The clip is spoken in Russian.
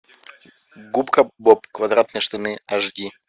губка боб квадратные штаны аш ди